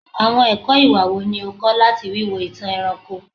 Awọn ẹkọ iwa wo ni o kọ lati wiwo itan ẹranko?